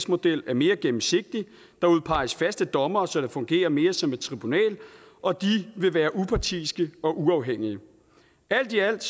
model er mere gennemsigtig der udpeges faste dommere så det fungerer mere som et tribunal og de vil være upartiske og uafhængige alt i alt